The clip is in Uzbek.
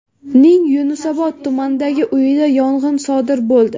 ning Yunusobod tumanidagi uyida yong‘in sodir bo‘ldi.